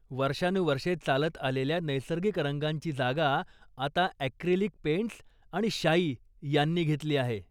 वर्षानुवर्षे चालत आलेल्या नैसर्गिक रंगांची जागा आता ॲक्रिलिक पेंट्स आणि शाई यांनी घेतली आहे.